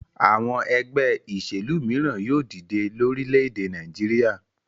Àwọn ẹgbẹ́ ìṣèlú mìíràn yóò dìde lórílẹ̀-èdè Nàìjíríà.